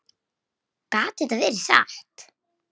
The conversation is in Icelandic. Gat þetta verið satt?